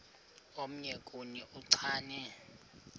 omnye kuni uchane